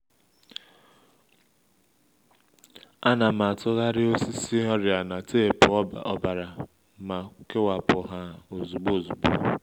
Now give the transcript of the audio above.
a na m atụgharị osisi ọrịa na teepu ọbara ma kewapụ ha ozugbo ozugbo